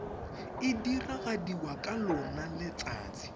e diragadiwa ka lona letsatsi